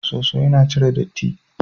Soso yana cire datti.